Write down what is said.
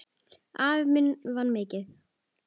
Afi minn vann mikið.